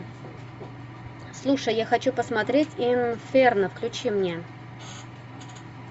слушай я хочу посмотреть инферно включи мне